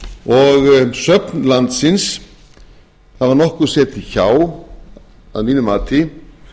og söfn landsins hafa nokkuð setið hjá í mínu mati